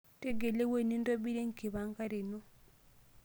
Tegelu engueji nintobirie enkipangare ino.